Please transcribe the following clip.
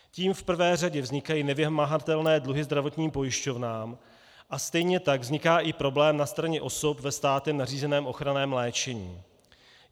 Tím v prvé řadě vznikají nevymahatelné dluhy zdravotním pojišťovnám a stejně tak vzniká i problém na straně osob ve státem nařízeném ochranném léčení.